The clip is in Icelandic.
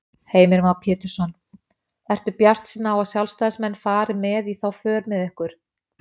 Heimir Már Pétursson: Ertu bjartsýn á að sjálfstæðismenn fari með í þá för með ykkur?